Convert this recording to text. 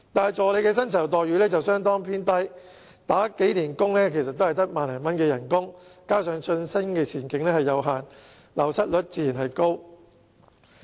可是，助理的薪酬待遇卻相對偏低，即使工作多年，薪酬也只有1萬多元，加上晉升前景有限，流失率自然高。